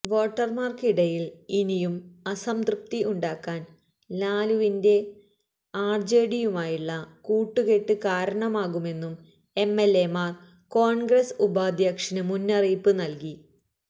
വോട്ടര്മാര്ക്ക് ഇടയില് ഇനിയും അസംതൃപ്തി ഉണ്ടാക്കാന് ലാലുവിന്റെ ആര്ജെഡിയുമായുള്ള കൂട്ടുകെട്ട് കാരണമാകുമെന്നും എംഎല്എമാര് കോണ്ഗ്രസ് ഉപാധ്യക്ഷന് മുന്നറിയിപ്പ് നല്കി